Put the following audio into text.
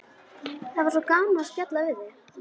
Það er svo gaman að spjalla við þig.